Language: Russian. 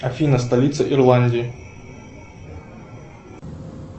афина столица ирландии